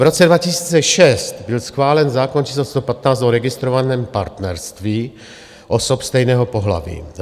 V roce 2006 byl schválen zákon č. 115 o registrovaném partnerství osob stejného pohlaví.